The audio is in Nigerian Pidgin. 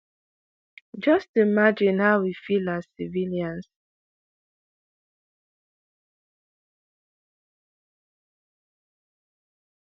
just imagine how we feel as civilians."